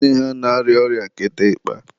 nne ha na-arịa ọrịa kịtịkpa.